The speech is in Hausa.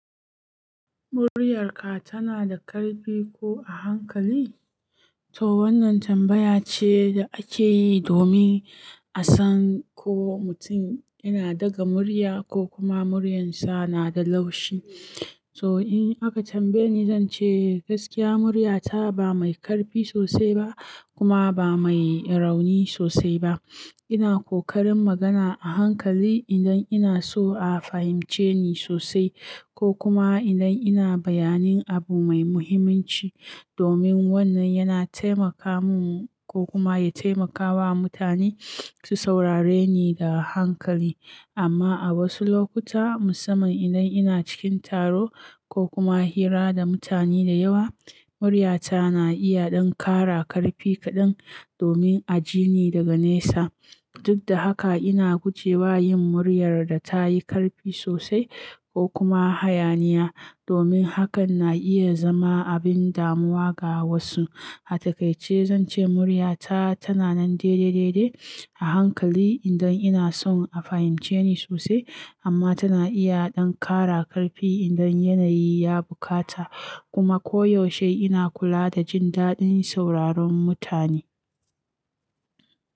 "Muryarka tana da ƙarfi ko a hankali?" To wannan tambaya ce da ake yi domin a san ko mutum yana daga murya ko kuma muryarsa na da laushi. To in aka tambaye ni, zan ce gaskiya muryata ba mai ƙarfi sosai ba kuma ba mai rauni sosai ba. Ina ƙoƙarin magana a hankali idan ina so a fahimce ni sosai ko kuma idan ina bayanin abu mai muhimmanci, domin wannan yana taimaka min ko kuma ya taimakawa mutane su saurare ni da hankali. Amma a wasu lokuta, musamman idan ina cikin taro ko kuma hira da mutane da yawa, muryata na iya ɗan ƙara ƙarfi kaɗan domin a ji ni daga nesa. Duk da haka, ina gujewa yin muryar da ta yi ƙarfi sosai ko kuma hayaniya, domin hakan na iya zama abin damuwa ga wasu. A takaice zan ce muryata tana nan daidai-daidai a hankali idan ina son a fahimce ni sosai, amma tana iya ɗan ƙara ƙarfi idan yanayi ya buƙata kuma koyaushe ina kula da jin daɗin sauraron mutane.